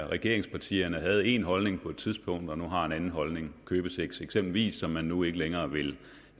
regeringspartierne havde en holdning på et tidspunkt og nu har en anden holdning købesex eksempelvis som man nu ikke længere vil